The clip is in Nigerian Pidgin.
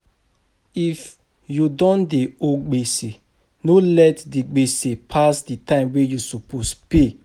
If you don dey owe gbese, no let di gbese pass di time wey you suppose pay